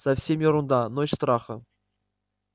совсем ерунда ночь страха